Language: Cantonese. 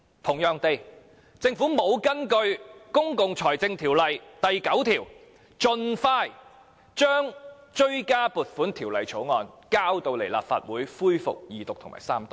同樣地，政府沒有根據《公共財政條例》第9條，盡快將追加撥款條例草案提交立法會恢復二讀及三讀。